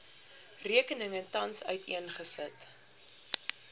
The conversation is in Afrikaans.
rekeninge tans uiteengesit